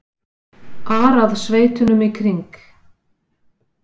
ar að sveitunum í kring.